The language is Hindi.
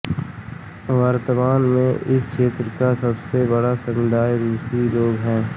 वर्तमान में इस क्षेत्र का सबसे बड़ा समुदाय रूसी लोग हैं